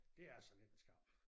Det altså lidt en skam